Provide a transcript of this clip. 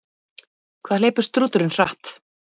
Hvað hleypur strúturinn hratt?